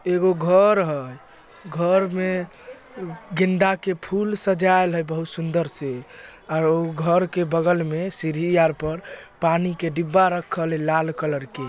एगो घर है घर मे गेदा के फूल सजाइल है बहुत सुदर से अउर घर के बगल मे सीडी अर पर पानी के डिब्बा रखाल लाल कलर के--